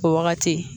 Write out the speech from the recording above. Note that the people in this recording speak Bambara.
O wagati